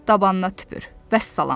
Dabanına tüpür, vəssalam.